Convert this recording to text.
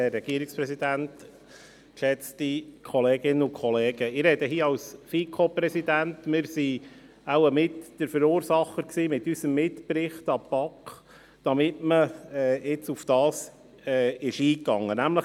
Mit unserem Mitbericht an die BaK waren wir wahrscheinlich Mitverursacher, dass man auf dieses Geschäft eingegangen ist.